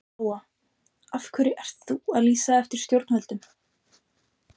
Lóa: Af hverju ert þú að lýsa eftir stjórnvöldum?